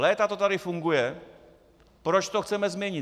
Léta to tady funguje - proč to chceme změnit?